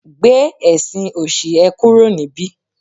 gbe ẹsìn òṣì e kúrò nibi